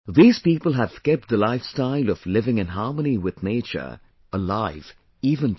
These people have kept the lifestyle of living in harmony with nature alive even today